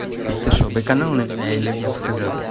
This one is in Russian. ты что быканул на меня или мне показалось